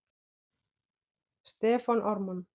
Stefán Ármann.